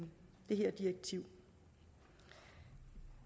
her direktiv